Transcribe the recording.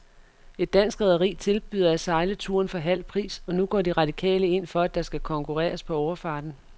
Et dansk rederi tilbyder at sejle turen for halv pris, og nu går de radikale ind for, at der skal konkurreres på overfarten.